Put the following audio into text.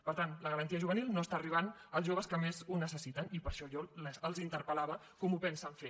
per tant la garantia juvenil no està arribant als joves que més ho necessiten i per això jo els interpel·lava com ho pensen fer